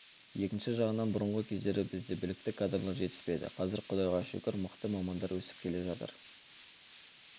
екінші жағынан бұрынғы кездері бізде білікті кадрлар жетіспеді қазір құдайға шүкір мықты мамандар өсіп келе жатыр